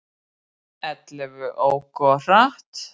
Ellefu óku of hratt